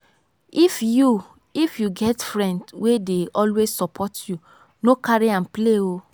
if you if you get friend wey dey always support you no carry am play oo.